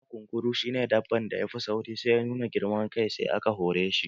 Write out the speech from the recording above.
A da kunkuru shi ne dabban da yafi sauri amma sai ya nuna girman kai sai aka hore shi